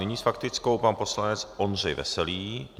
Nyní s faktickou pan poslanec Ondřej Veselý.